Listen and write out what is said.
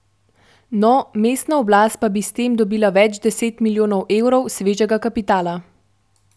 No, mestna oblast pa bi s tem dobila več deset milijonov evrov svežega kapitala.